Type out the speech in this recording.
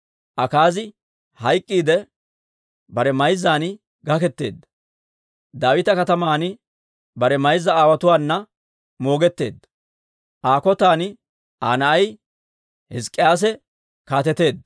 Akaazi hayk'k'iidde, bare mayzzan gaketeedda; Daawita Kataman bare mayza aawotuwaana moogetteedda. Aa kotan Aa na'ay Hizk'k'iyaase kaateteedda.